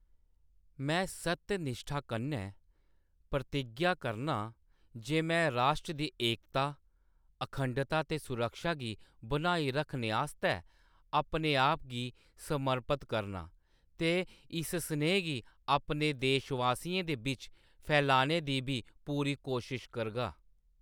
में सत्यनिश्ठा कन्नै प्रतिज्ञा करनां जे में राश्ट्र दी एकता, अखंडता ते सुरक्षा गी बनाई रक्खने आस्तै अपनेआप गी समर्पत करनां ते इस सनेह् गी अपने देशवासियें दे बिच्च फैलाने दी बी पूरी कोशश करगा।